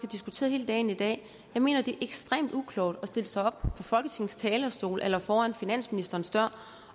diskuteret hele dagen i dag at jeg mener det er ekstremt uklogt at stille sig op på folketingets talerstol eller foran finansministerens dør